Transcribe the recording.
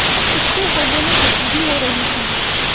उसके हृदय में गुदगुदी हो रही थी